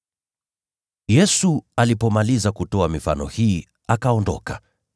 Yesu alipomaliza kutoa mifano hii, akaondoka.